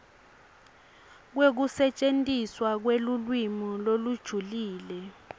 kwekusetjentiswa kwelulwimi lolujulile